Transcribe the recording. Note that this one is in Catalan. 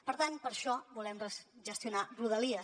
per tant per això volem gestionar rodalies